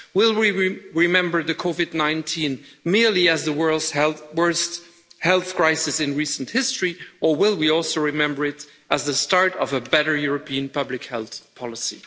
Will we remember COVID 19 merely as the world's worst health crisis in recent history, or will we also remember it as the start of a better European public health policy?